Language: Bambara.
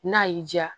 N'a y'i diya